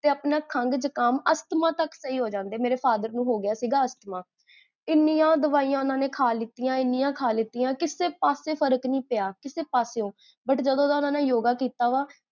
ਤੇ ਆਪਣਾ ਖੰਗ ਜੁਖਾਮ, ਅਸ੍ਥਮਾ ਤਕ ਸਹੀ ਹੋਜਾਂਦੇ ਨੇ ਮੇਰੇ father ਨੂੰ ਹੋਗਿਆ ਸੀਗਾ ਅਸ੍ਥਮਾ, ਇੰਨੀਆਂ ਦਵਾਈਆਂ ਓਨਾ ਨੇ, ਖਾ ਲਿਤੀਆਂ, ਇੰਨੀਆਂ ਖਾ ਲਿਤੀਆਂ, ਕਿਸੇ ਪਾਸੇ ਫ਼ਰਕ ਨੀ ਪਿਆ